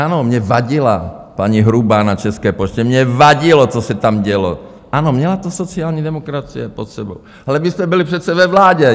Ano, mně vadila paní Hrubá na České poště, mně vadilo, co se tam dělo, ano, měla to sociální demokracie pod sebou, ale vy jste byli přece ve vládě.